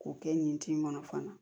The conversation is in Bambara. K'o kɛ nin tin in kɔnɔ fana